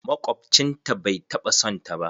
Makwabcin ta bai taɓa son ta ba